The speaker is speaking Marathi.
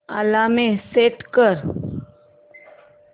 अलार्म सेट कर